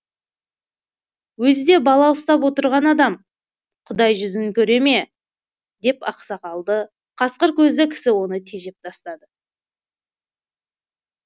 өзі де бала ұстап отырған адам құдай жүзін көре ме деп ақ сақалды қасқыр көзді кісі оны тежеп тастады